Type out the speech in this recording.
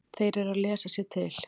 Þeir eru að lesa sér til.